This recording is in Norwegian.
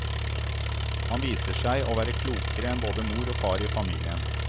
Han viser seg å være klokere enn både mor og far i familien.